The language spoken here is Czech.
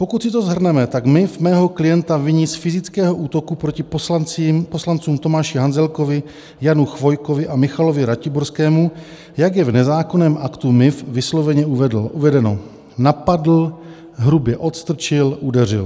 Pokud si to shrneme, tak MIV mého klienta viní z fyzického útoku proti poslancům Tomáši Hanzelkovi , Janu Chvojkovi a Michalovi Ratiborskému, jak je v nezákonném aktu MIV vysloveně uvedeno: napadl, hrubě odstrčil, udeřil.